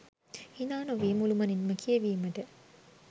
හිනානොවී මුළුමනින්ම කියවීමට